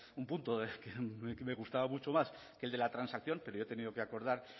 un punto que me gustaba mucho más que el de la transacción pero yo he tenido que acordar